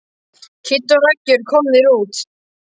Kiddi og Raggi eru komnir út.